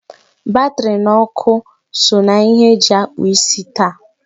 Batri na ọkụ so na ihe eji akpụ isi taa.